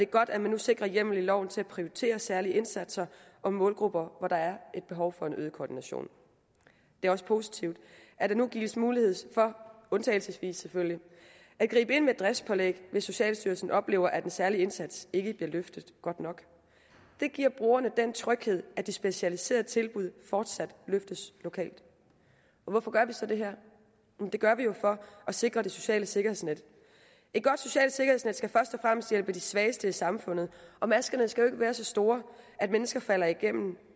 godt at man nu sikrer hjemmel i loven til at prioritere særlige indsatser for målgrupper hvor der er et behov for en øget koordination det er også positivt at der nu gives mulighed for undtagelsesvis selvfølgelig at gribe ind med driftspålæg hvis socialstyrelsen oplever at den særlige indsats ikke bliver løftet godt nok det giver brugerne den tryghed at de specialiserede tilbud fortsat løftes lokalt hvorfor gør vi så det her det gør vi jo for at sikre det sociale sikkerhedsnet et godt socialt sikkerhedsnet skal først og fremmest hjælpe de svageste i samfundet og maskerne skal være så store at mennesker falder igennem